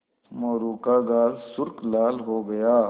मोरू का गाल सुर्ख लाल हो गया